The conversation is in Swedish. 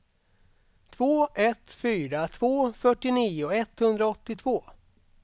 två ett fyra två fyrtionio etthundraåttiotvå